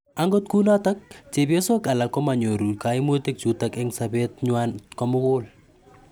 Angot kunotok chepyosok alak komanyoru kaimuti chutok eng' sobeet nywaan komugul.